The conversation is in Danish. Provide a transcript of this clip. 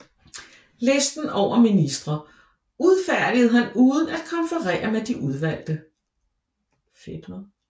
Listen over ministre udfærdigede han uden at konferere med de udvalgte